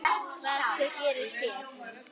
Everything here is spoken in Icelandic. Hvað sko, hvað gerist hérna?